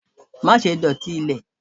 ma sé dotí ilè!